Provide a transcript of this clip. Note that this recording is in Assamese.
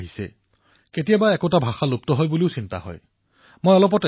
এই কাহিনাৰ দ্বাৰা ইয়াকেই গম পোৱা যায় যে কিদৰে জনতাই নিজৰ ভাষাক আগুৱাই নিয়াৰ বাবে আগবাঢ়ি আহে